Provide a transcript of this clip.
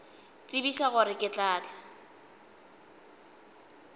tsebiša gore ke tla tla